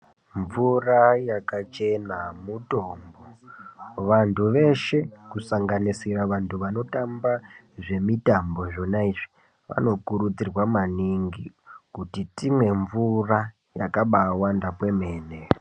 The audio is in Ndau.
Mvura yakachena mutombo vantu veshe kusanganisira vantu vanotamba zvemutambo zvaona izvi vanokuridzirwa maningi kuti timwe mvura yakaba wanda kwemene.